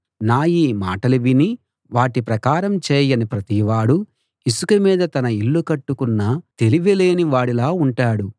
నా ఈ మాటలు విని వాటి ప్రకారం చేయని ప్రతివాడూ ఇసుక మీద తన ఇల్లు కట్టుకున్న తెలివిలేని వాడిలా ఉంటాడు